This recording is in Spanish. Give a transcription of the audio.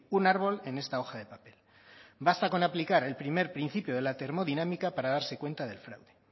un árbol en esta hoja de papel basta con aplicar el primer principio de la termodinámica para darse cuenta del fraude